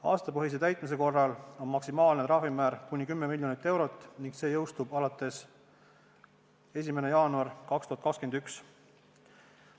Aastapõhise täitmise korral on maksimaalne trahvimäär 10 miljonit eurot ning see jõustub 1. jaanuaril 2021.